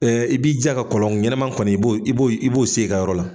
Ɛɛ i b'i jija ka kɔlɔn ɲɛnaman kɔni , i b'o i b'o i b'o sen i ka yɔrɔ la.